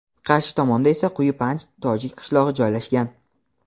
qarshi tomonda esa Quyi Panj tojik qishlog‘i joylashgan.